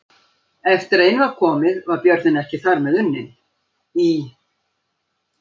Eftir að inn var komið var björninn ekki þar með unninn: Í